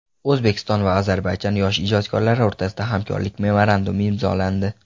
O‘zbekiston va Ozarbayjon yosh ijodkorlari o‘rtasida hamkorlik memorandumi imzolandi.